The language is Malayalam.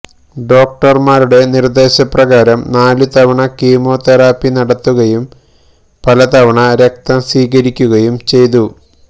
ഡോക്ടര്മാരുടെ നിര്ദേശപ്രകാരം നാലുതവണ കീമോ തെറപ്പി നടത്തുകയും പലതവണ രക്തം സ്വീകരിക്കുകയും ചെയ്തു